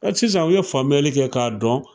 Ɛɛ sisan u ye faamuyali kɛ k'a dɔn.